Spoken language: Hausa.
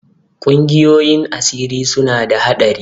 Ƙungiyoyin asiri suna da haɗari.